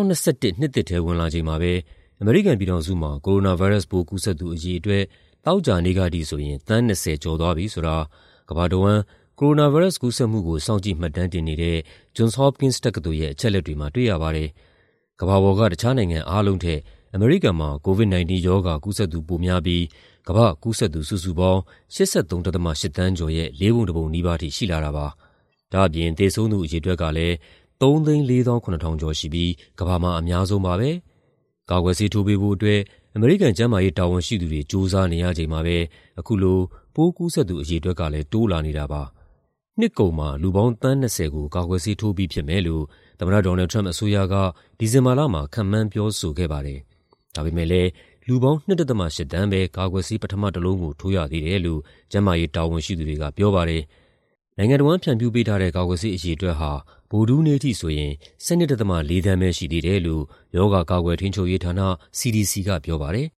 နှစ်သစ်ထဲ ဝင်လာချိန်မှာပဲ အမေရိကန်ပြည်ထောင်စုမှာ ကိုရိုနာဗိုင်းရပ်စ်ပိုး ကူးစက်သူ အရေအတွက် သောကြာနေ့ကထိဆိုရင် သန်း ၂၀ ကျော်သွားပြီဆိုတာ ကမ္ဘာတဝန်း ကိုရိုနာဗိုင်းရပ်စ် ကူးစက်မှုကို စောင့်ကြည့်မှတ်တမ်းတင်နေတဲ့ Johns Hopkins တက္ကသိုလ်ရဲ့ အချက်အလက်တွေမှာ တွေ့ရပါတယ်။ ကမ္ဘာပေါ်က တခြားနိုင်ငံအားလုံးထက် အမေရိကန်မှာ COVID-19 ရောဂါကူးစက်သူ ပိုများပြီး ကမ္ဘာ့ကူးစက်သူ စုစုပေါင်း ၈၃.၈ သန်းကျော်ရဲ့ လေးပုံတပုံနီးပါးထိ ရှိလာတာပါ။ ဒါ့အပြင် သေဆုံးသူ အရေအတွက်ကလည်း ၃၄၇,၀၀၀ ကျော်ရှိပြီး ကမ္ဘာမှာ အများဆုံးပါပဲ။ ကာကွယ်ဆေးထိုးပေးဖို့အတွက် အမေရိကန် ကျန်းမာရေးတာဝန်ရှိသူတွေ ကြိုးစားနေရချိန်မှာပဲ အခုလို ပိုးကူးစက်သူ အရေအတွက်ကလည်း တိုးလာနေတာပါ။ နှစ်ကုန်မှာ လူပေါင်း သန်း ၂၀ ကို ကာကွယ်ဆေးထိုးပြီး ဖြစ်မယ်လို့ သမ္မတ Donald Trump အစိုးရက ဒီဇင်ဘာလမှာ ခန့်မှန်း ပြောဆိုခဲ့ပါတယ်။ ဒါပေမယ့်လည်း လူပေါင်း ၂.၈ သန်းပဲ ကာကွယ်ဆေး ပထမတလုံးကို ထိုးရသေးတယ်လို့ ကျန်းမာရေးတာဝန်ရှိသူတွေက ပြောပါတယ်။ နိုင်ငံတဝန်း ဖြန့်ဖြူးပေးထားတဲ့ ကာကွယ်ဆေး အရေအတွက်ဟာ ဗုဒ္ဓဟူးနေ့အထိဆိုရင် ကာကွယ်ဆေးအရေအတွက် ၁၂.၄ သန်းပဲ ရှိသေးတယ်လို့ ရောဂါ ကာကွယ်ထိန်းချုပ်ရေးဌာန (CDC) က ပြောပါတယ်